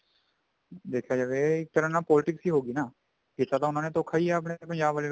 ਦੇਖਿਆ ਜਾਵੇ ਇਹ ਇੱਕ ਤਰ੍ਹਾਂ ਨਾਲ politics ਹੀ ਹੋਗੀ ਨਾ ਕੀਤਾ ਤਾਂ ਉਹਨਾਂ ਨੇ ਧੋਖਾ ਹੀ ਆ ਪੰਜਾਬ ਆਲੇ